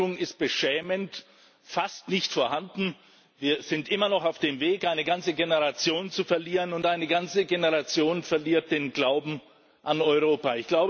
Die Wirkung ist beschämend, fast nicht vorhanden. Wir sind immer noch auf dem Weg, eine ganze Generation zu verlieren, und eine ganze Generation verliert den Glauben an Europa.